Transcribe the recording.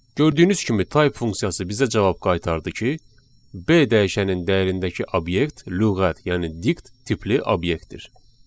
Gördüyünüz kimi type funksiyası bizə cavab qaytardı ki, B dəyişəninin dəyərindəki obyekt lüğət, yəni dict tipli obyektdir.